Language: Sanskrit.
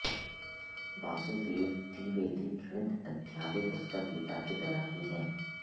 वासुदेव द्विवेदी प्रणीत अद्यापि पुस्तक गीता की तरह ही है